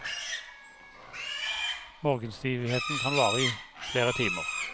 Morgenstivheten kan vare i flere timer.